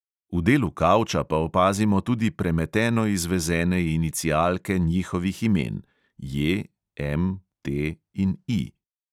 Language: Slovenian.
V delu kavča pa opazimo tudi premeteno izvezene inicialke njihovih imen – J, M, T in I.